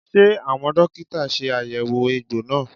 Ṣé àwọn dókítà ṣe àyẹ̀wò egbò náà?